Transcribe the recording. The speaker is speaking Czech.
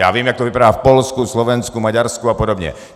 Já vím, jak to vypadá v Polsku, Slovensku, Maďarsku a podobně.